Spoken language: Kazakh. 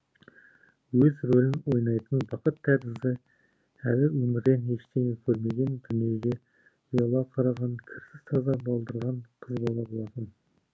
өзі рөлін ойнайтын бақыт тәрізді әлі өмірден ештеңе көрмеген дүниеге ұяла қараған кірсіз таза балдырған қыз бала болатын